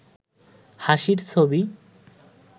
হাসির ছবি